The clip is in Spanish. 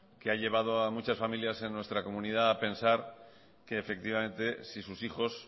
que ha llevado a muchas familias en nuestra comunidad que efectivamente si sus hijos